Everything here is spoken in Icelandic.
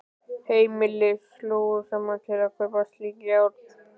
Heimili slógu saman til að kaupa slík járn.